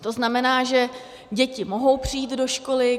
To znamená, že děti mohou přijít do školy.